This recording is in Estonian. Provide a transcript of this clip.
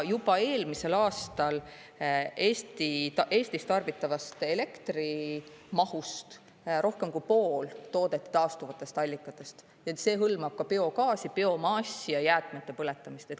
Juba eelmisel aastal Eestis tarbitavast elektri mahust rohkem kui pool toodeti taastuvatest allikatest, ent see hõlmab ka biogaasi, biomassi ja jäätmete põletamist.